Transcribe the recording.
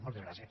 moltes gràcies